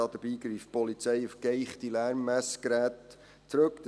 Dabei greift die Polizei auf geeichte Lärmmessgeräte zurück.